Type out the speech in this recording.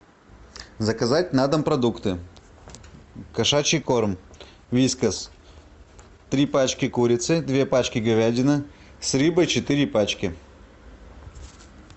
заказать на дом продукты кошачий корм вискас три пачки курицы две пачки говядины с рыбой четыре пачки